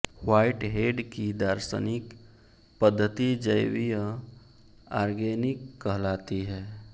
Whitehead की दार्शनिक पद्धति जैवीय आर्गेनिक कहलाती है